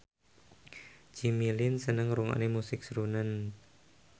Jimmy Lin seneng ngrungokne musik srunen